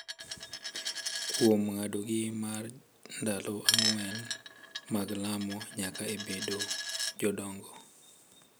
kuom ng’adogi mar ndalo ang’wen mag lamo nyaka e bedo jodongo.